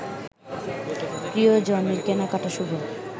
প্রিয়জনের কেনাকেটা শুভ